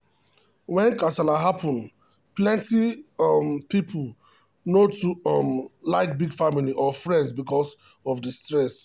when kasala happen plenty um people no too um like beg family or friends because of the stress. um